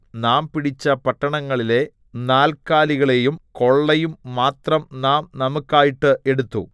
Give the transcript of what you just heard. നാം പിടിച്ച പട്ടണങ്ങളിലെ നാൽക്കാലികളെയും കൊള്ളയും മാത്രം നാം നമുക്കായിട്ട് എടുത്തു